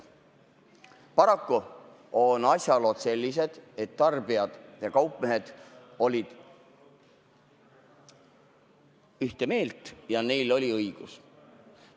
Paraku on asjalood sellised, et tarbijad ja kaupmehed olid ühte meelt ja neil oli õigus.